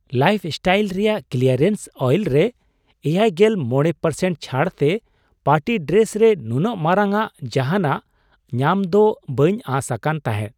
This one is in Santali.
ᱞᱟᱭᱤᱯᱷᱼᱥᱴᱟᱭᱤᱞ ᱨᱮᱭᱟᱜ ᱠᱞᱤᱭᱟᱨᱮᱱᱥ ᱟᱭᱤᱞ ᱨᱮ ᱗᱕% ᱪᱷᱟᱹᱲᱛᱮ ᱯᱟᱨᱴᱤ ᱰᱨᱮᱥ ᱨᱮ ᱱᱩᱱᱟᱹᱜ ᱢᱟᱨᱟᱝᱼᱟᱜ ᱡᱟᱦᱟᱱᱟᱜ ᱧᱟᱢᱫᱚ ᱵᱟᱹᱧ ᱟᱸᱥ ᱟᱠᱟᱱ ᱛᱟᱦᱮᱸᱫ ᱾